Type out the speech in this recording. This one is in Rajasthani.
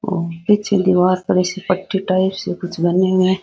और पीछे दीवार पर एसी पट्टी टाइप सी कुछ बनी हुए है।